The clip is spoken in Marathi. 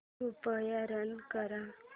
कृपया रन कर